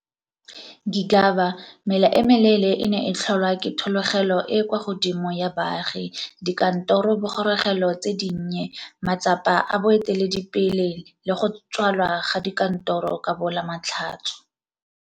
Gigaba mela e meleele e ne e tlholwa ke thologelo e e kwa godimo ya baagi, dikantorobogorogelo tse dinnye, matsapa a boeteledipele le go tswalwa ga dikantoro ka bo Lamatlhatso.